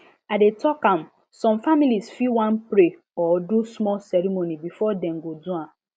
i dey talk am some families fit wan pray or do small ceremony before dem go do am